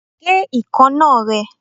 Gé ekanna rẹ!